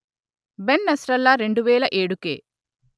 Ben Nasrallah రెండు వేల ఏడుకె